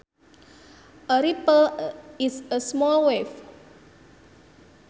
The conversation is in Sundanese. A ripple is a small wave